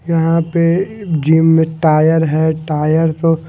यहां पे जिम में टायर है टायर को--